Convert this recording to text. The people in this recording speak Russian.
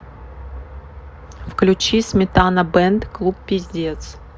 включи сметана бэнд клуб пиздец